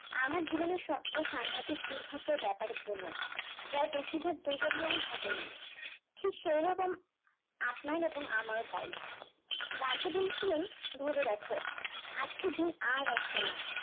আমার জীবনের সবচেয়ে সাংঘাতিক দুর্ভাগ্যের ব্যাপার কোনো, যার বেশিরভাগ দুর্ঘটনাই ঘটেনি ঠিক সেই রকম আপনার এবং আমার তাই, বলেছিলেন রেখো, আজকের দিন আর আসবেনা